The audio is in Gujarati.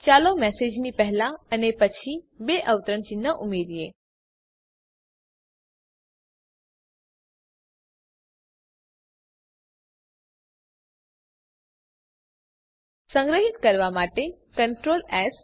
ચાલો મેસેજની પહેલા અને પછી બે અવતરણ ચિહ્ન ઉમેરીએ સંગ્રહીત કરવા માટે Ctrl એસ